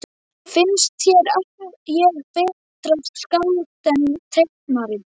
Finnst þér ég betra skáld en teiknari?